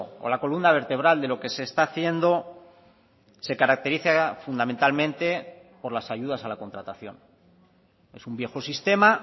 o la columna vertebral de lo que se está haciendo se caracteriza fundamentalmente por las ayudas a la contratación es un viejo sistema